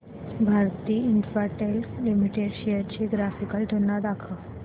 Bharti Infratel limited shares ची graphical तुलना दाखव